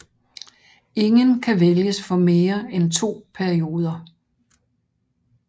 Ingen kan vælges for mere end to perioder